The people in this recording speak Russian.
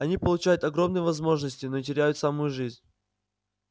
они получают огромные возможности но теряют саму жизнь